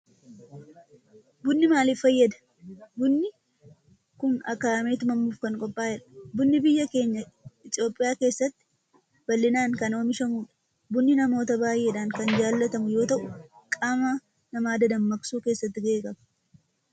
Bunni maalif fayyada? Bunni kun aka'aamee tumamuf kan qophaa'edha. Bunni biyya teenya Itiyoophiyaa keessatti bal'inaan kan oomishamudha. Bunni namoota baayyeedhan kan jaalatamu yoo ta'u qaama nama dadammaksuu keessatti gahee qaba.